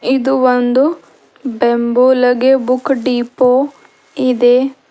ಇದು ಒಂದು ಬೆಂಬುಲಗೆ ಬುಕ್ ಡಿಪೋ ಇದೆ.